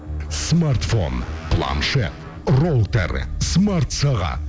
смартфон планшет роутер смартсағат